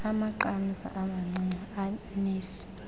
amaqamza amancinci anesi